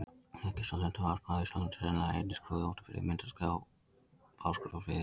Þekktasta lundavarpið á Austurlandi er sennilega í eynni Skrúði úti fyrir mynni Fáskrúðsfjarðar.